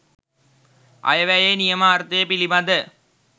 අයවැයේ නියම අර්ථය පිළිබඳ